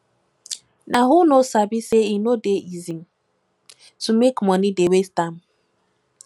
nah who no sabi sey e no dey easy to make moni dey waste am